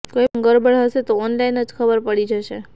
કોઇ પણ ગરબડ હશે તો ઓનલાઇન જ ખબર પડી જશે